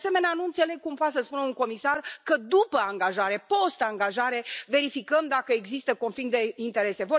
De asemenea, nu înțeleg cum poate să spună un comisar că, după angajare, post angajare, verificăm dacă există conflict de interese.